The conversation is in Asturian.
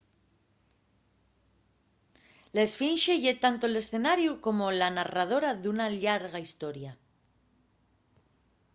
la esfinxe ye tanto l’escenariu como la narradora d’una llarga historia